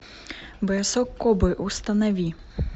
бросок кобры установи